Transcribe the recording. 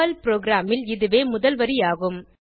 Perl ப்ரோகிராமில் இதுவே முதல் வரி ஆகும்